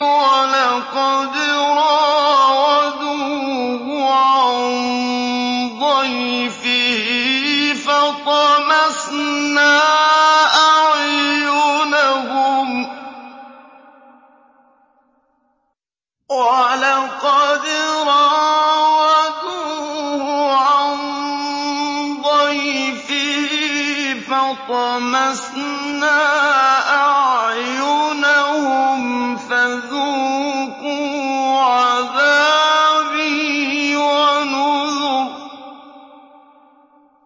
وَلَقَدْ رَاوَدُوهُ عَن ضَيْفِهِ فَطَمَسْنَا أَعْيُنَهُمْ فَذُوقُوا عَذَابِي وَنُذُرِ